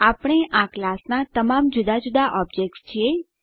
આપણે આ ક્લાસનાં તમામ જુદા જુદા ઓબ્જેક્ત્સ છીએ